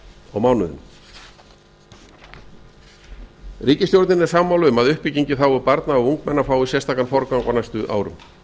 og mánuðum ríkisstjórnin er sammála um að uppbygging í hag barna og ungmenna að sérstakan forgang á næstu árum